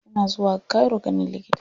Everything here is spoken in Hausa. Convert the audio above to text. Suna zuwa cairo ganin likita.